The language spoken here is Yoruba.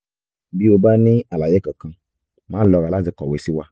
bí o bá ní àlàyé kankan má lọ́ra láti kọ̀wé sí wa